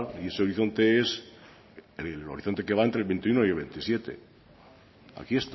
y ese horizonte es el horizonte que va entre veintiuno y el veintisiete aquí